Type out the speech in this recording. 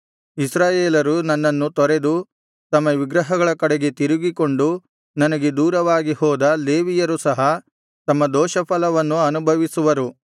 ಇಸ್ರಾಯೇಲರು ನನ್ನನ್ನು ತೊರೆದು ತಮ್ಮ ವಿಗ್ರಹಗಳ ಕಡೆಗೆ ತಿರುಗಿಕೊಂಡು ನನಗೆ ದೂರವಾಗಿ ಹೋದ ಲೇವಿಯರು ಸಹ ತಮ್ಮ ದೋಷಫಲವನ್ನು ಅನುಭವಿಸುವರು